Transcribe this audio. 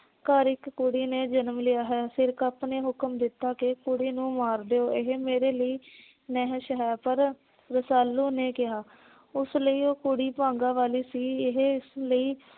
ਘਰ ਇੱਕ ਕੁੜੀ ਨੇ ਜਨਮ ਲਿਆ ਹੈ। ਸਿਰਕਪ ਨੇ ਹੁਕਮ ਦਿੱਤਾ ਕਿ ਕੁੜੀ ਨੂੰ ਮਾਰ ਦਿਉ। ਇਹ ਕੁੜੀ ਮੇਰੇ ਲਈ ਨਹਿਸ਼ ਹੈ। ਪਰ ਰਸਾਲੂ ਨੇ ਕਿਹਾ ਉਸ ਲਈ ਉਹੋ ਕੁੜੀ ਭਾਗਾਂ ਵਾਲੀ ਸੀ। ਇਹ ਇਸ ਲਈ